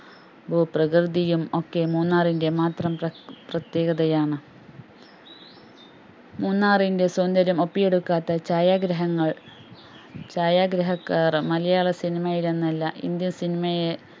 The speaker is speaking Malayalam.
ഭൂ പ്രകൃതിയും ഒക്കെ മൂന്നാറിൻറെ മാത്രം പ്രത് പ്രതേകതയാണ് മൂന്നാറിൻറെ സൗന്ദര്യം ഒപ്പിയെടുക്കാതെ ഛായാഗ്രഹങ്ങൾ ഛായാഗ്രഹകാർ മലയാള cinema യിൽ എന്നല്ല Indian cinema യെ